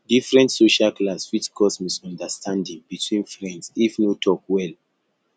different social class fit cause misunderstanding between friends if no talk well